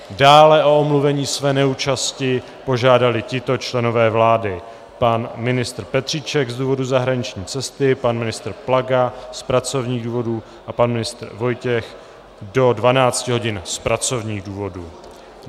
Dále o omluvení své neúčasti požádali tito členové vlády: pan ministr Petříček z důvodu zahraniční cesty, pan ministr Plaga z pracovních důvodů a pan ministr Vojtěch do 12 hodin z pracovních důvodů.